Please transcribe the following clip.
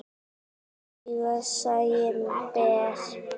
Augað sæinn ber.